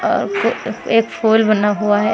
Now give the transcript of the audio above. अ क एक फूल बना हुआ है।